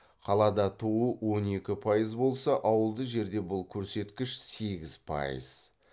қалада туу он екі пайыз болса ауылды жерде бұл көрсеткіш сегіз пайыз